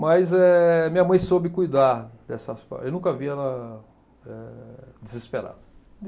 Mas eh minha mãe soube cuidar dessas... Eu nunca vi ela eh desesperada.